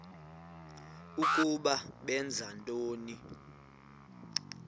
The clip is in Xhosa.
ukuba benza ntoni